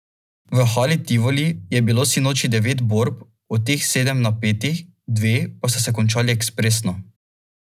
V Hali Tivoli je bilo sinoči devet borb, od teh sedem napetih, dve pa sta se končali ekspresno.